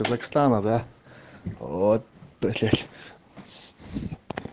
казахстана да вот блять